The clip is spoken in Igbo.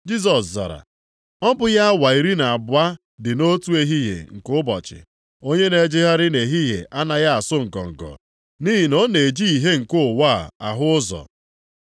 Jisọs zara, “Ọ bụghị awa iri na abụọ dị nʼotu ehihie nke ụbọchị? Onye na-ejegharị nʼehihie anaghị asụ ngọngọ, nʼihi na ọ na-eji ìhè nke ụwa a ahụ ụzọ.